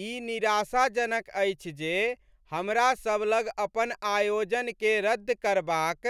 ई निराशाजनक अछि जे हमरा सभ लग अपन आयोजनकेँ रद्द करबाक